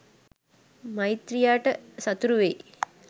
මෛත්‍රියට සතුරු වෙයි.